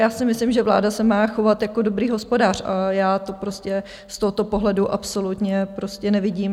Já si myslím, že vláda se má chovat jako dobrý hospodář, a já to prostě z tohoto pohledu absolutně prostě nevidím.